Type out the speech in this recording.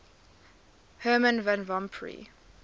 herman van rompuy